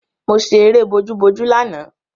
Mo ṣẹ eré bojúbojú lánàá